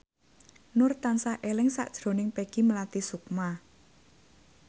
Nur tansah eling sakjroning Peggy Melati Sukma